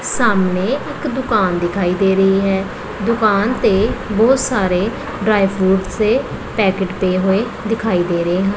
ਸਾਹਮਣੇ ਇੱਕ ਦੁਕਾਨ ਦਿਖਾਈ ਦੇ ਰਹੀ ਹੈ ਦੁਕਾਨ ਤੇ ਬਹੁਤ ਸਾਰੇ ਡਰਾਈ ਫਰੂਟਸ ਦੇ ਪੈਕਟ ਪਏ ਹੋਏ ਦਿਖਾਈ ਦੇ ਰਹੇ ਹਨ।